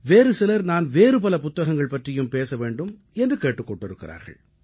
வேறு சிலர் நான் வேறு பல புத்தகங்கள் பற்றியும் பேச வேண்டும் என்று கேட்டுக் கொண்டிருக்கிறார்கள்